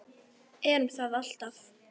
Erum það alltaf.